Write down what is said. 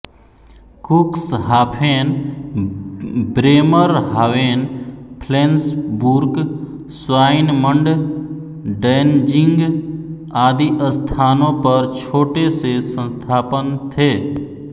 Cuxhaven Bremerhaven Flensburg Swinemunde Danzig आदि स्थानों पर छोटे से संस्थापन थे